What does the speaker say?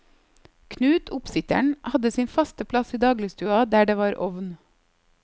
Knut, oppsitteren, hadde sin faste plass i dagligstua, der det var ovn.